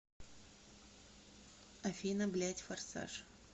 афина блядь форсаж